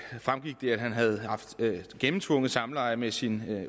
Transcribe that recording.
han havde haft gennemtvunget samleje med sin